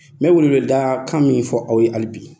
N bɛ weele weele da kan min fɔ aw ye hali bi